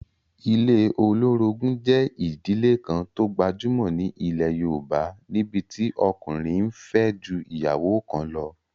Ilé olórogún jẹ́ ìdílé kan tó gbajúmọ̀ ní ilẹ̀ yóòbá, níbití ọkùnrin n fẹ́ ju ìyàwó kan lọ